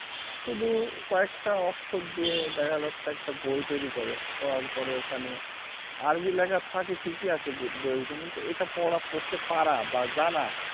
শুধু কয়েকটা অক্ষর দিয়ে দেখা যাচ্ছে একটা বই তৈরী করে করার পরে ওখানে আরবি লেখা থাকে ঠিকই আছে গু বইয়ের ভেতরে কিন্তু এটা পড়া পড়তে পারা বা জানা